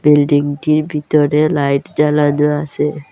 বিল্ডিংটির ভিতরে লাইট জ্বালানো আসে।